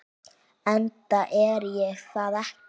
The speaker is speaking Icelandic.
Enda er ég það ekki.